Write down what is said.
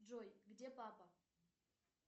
джой где папа